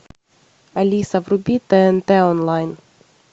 алиса вруби тнт онлайн